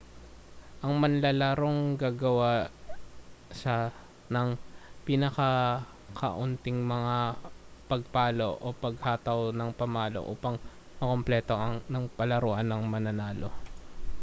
ang manlalarong gagawa ng pinakakaunting mga pagpalo o mga paghataw ng pamalo upang makumpleto ang palaruan ang mananalo